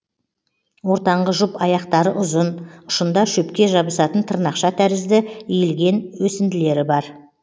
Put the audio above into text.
ортаңғы жұп аяқтары ұзын ұшында шөпке жабысатын тырнақша тәрізді иілген өсінділері бар